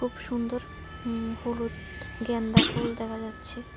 খুব সুন্দর ইম হলুদ গ্যান্দা ফুল দেখা যাচ্ছে।